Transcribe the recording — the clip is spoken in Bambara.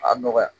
A nɔgɔya